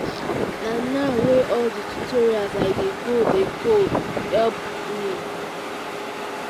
na now wey all the tutorials i dey go dey go go help me